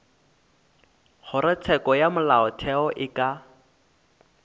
kgorotsheko ya molaotheo e ka